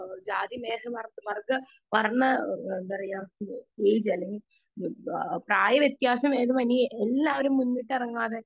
speaker 2 ജാതി മത വർഗ്ഗ വർണ്ണ എന്താ പറയാ പ്രായ വ്യത്യസ്ത ഭേദമെന്യേ എല്ലാവരും മുന്നിട്ടിറങ്ങാതെ